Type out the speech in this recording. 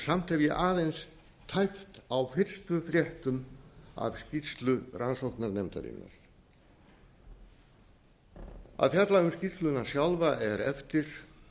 samt hef ég aðeins tæpt á fyrstu fréttum af skýrslu rannsóknarnefndarinnar að fjalla um skýrsluna sjálfa er eftir